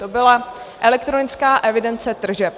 To byla elektronická evidence tržeb.